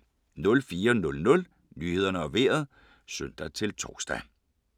04:00: Nyhederne og Vejret (søn-tor)